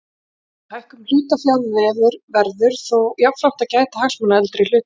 Við hækkun hlutafjár verður þó jafnframt að gæta hagsmuna eldri hluthafa.